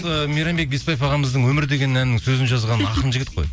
ы мейрамбек беспаев ағамыздың өмір деген әнінің сөзін жазған ақын жігіт қой